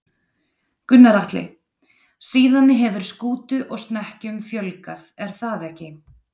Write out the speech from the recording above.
Gunnar Atli: Síðan hefur skútu og snekkjum fjölgað er það ekki?